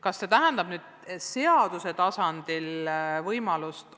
Kas see tähendab seaduse tasandil reguleerimist?